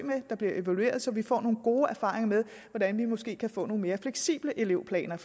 der bliver evalueret så vi får nogle gode erfaringer med hvordan vi måske kan få nogle mere fleksible elevplaner